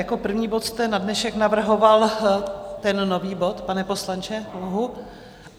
Jako první bod jste na dnešek navrhoval ten nový bod, pane poslanče?